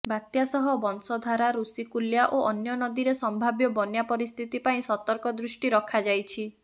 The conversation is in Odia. ବାତ୍ୟା ସହ ବଂଶଧାରା ଋଷିକୂଲ୍ୟା ଓ ଅନ୍ୟ ନଦୀରେ ସମ୍ଭାବ୍ୟ ବନ୍ୟା ପରିସ୍ଥିତି ପ୍ରତି ସତର୍କ ଦୃଷ୍ଟି ରଖାଯାଇଛି